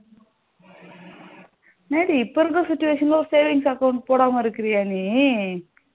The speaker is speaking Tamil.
என்னடி இப்ப இருக்குற situation ஒரு savings account போடாம இருக்கியா நீ